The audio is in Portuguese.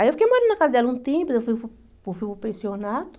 Aí eu fiquei morando na casa dela um tempo, eu fui para o fui para o pensionato,